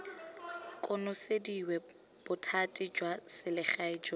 konosediwa bothati jwa selegae jo